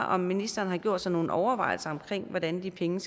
om ministeren har gjort sig nogle overvejelser om hvordan de penge